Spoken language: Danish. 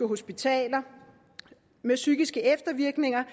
hospitaler med psykiske eftervirkninger